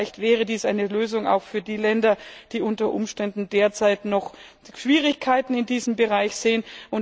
Vielleicht wäre dies eine Lösung auch für die Länder, die unter Umständen derzeit noch Schwierigkeiten in diesem Bereich sehen.